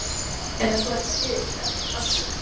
En ef þú ættir að biðja einhvern afsökunar?